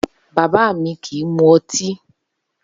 Baba mi ko mu ọti.